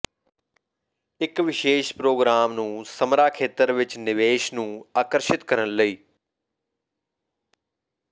ਇਕ ਵਿਸ਼ੇਸ਼ ਪ੍ਰੋਗਰਾਮ ਨੂੰ ਸਮਰਾ ਖੇਤਰ ਵਿਚ ਨਿਵੇਸ਼ ਨੂੰ ਆਕਰਸ਼ਿਤ ਕਰਨ ਲਈ